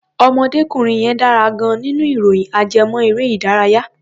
Ọ̀mọdékùnrin yẹn dára gan-an nínú ìròyìn ajẹ́mọ́-erẹ́-ìdárayá.